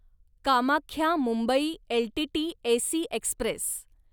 Kamakhya Mumbai L T T AC Express